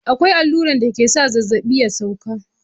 Akwai alluran dake sa zazzaɓi ya sauka.